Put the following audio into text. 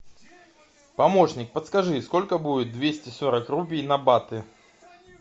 помощник подскажи сколько будет двести сорок рупий на баты